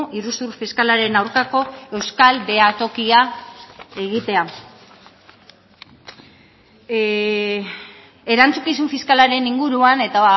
iruzur fiskalaren aurkako euskal behatokia egitea erantzukizun fiskalaren inguruan eta